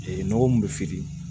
Ee nɔgɔ min bɛ feere